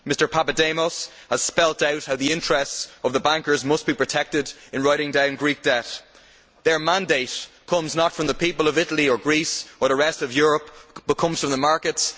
Mr Papademos has spelt out how the interests of the bankers must be protected in writing down Greek debt. Their mandate comes not from the people of Italy or Greece or the rest of Europe, but comes from the markets.